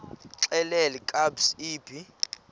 xelel kabs iphi